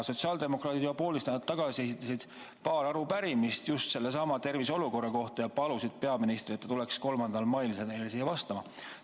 Sotsiaaldemokraadid juba poolteist nädalat tagasi esitasid paar arupärimist just terviseolukorra kohta ja palusid peaministrit, et ta tuleks 3. mail meile vastama.